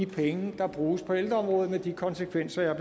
penge der bruges på ældreområdet og med de konsekvenser jeg